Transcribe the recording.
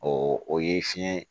O o ye fiɲɛ